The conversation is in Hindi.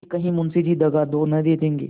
कि कहीं मुंशी जी दगा तो न देंगे